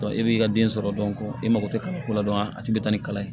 i b'i ka den sɔrɔ i mako tɛ kalanko la a tɛ bɛn ni kalan ye